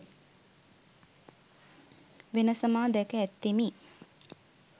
වෙනස මා දැක ඇත්තෙමි